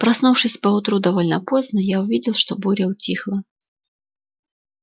проснувшись поутру довольно поздно я увидел что буря утихла